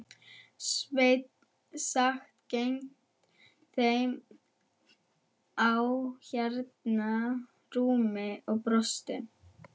Sveinn sat gegnt þeim á hennar rúmi og brosti.